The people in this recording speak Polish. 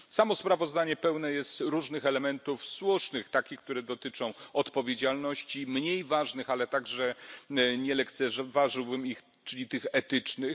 Samo sprawozdanie pełne jest różnych elementów słusznych, takich które dotyczą odpowiedzialności, i mniej ważnych ale także nie lekceważyłbym ich czyli tych etycznych.